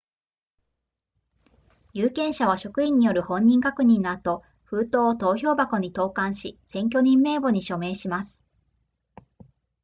有権者は職員による本人確認の後封筒を投票箱に投函し選挙人名簿に署名します